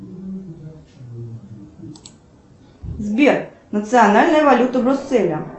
сбер национальная валюта брюсселя